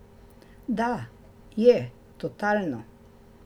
Da, je, totalno.